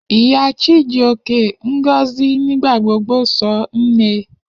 Iya Chijioke, Ngozi, nigbagbogbo sọ Nne.